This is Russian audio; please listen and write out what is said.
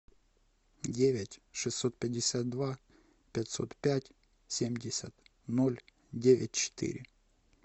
девять шестьсот пятьдесят два пятьсот пять семьдесят ноль девять четыре